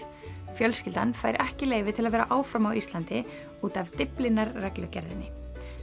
fjölskyldan fær ekki leyfi til að vera áfram á Íslandi út af Dyflinnarreglugerðinni